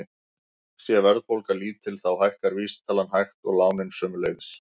Sé verðbólga lítil þá hækkar vísitalan hægt og lánin sömuleiðis.